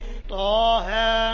طه